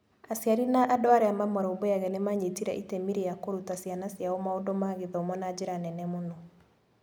Aciari na andũ arĩa mamarũmbũyagia nĩ maanyitire itemi rĩa kũruta ciana ciao maũndũ ma gĩthomo na njĩra nene mũno.